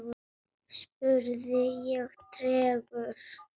spurði ég tregur.